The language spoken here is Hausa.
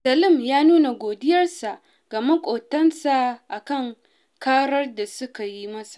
Salim ya nuna godiyarsa ga maƙotansa a kan karar da suka yi masa